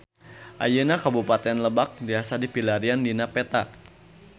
Ayeuna Kabupaten Lebak tiasa dipilarian dina peta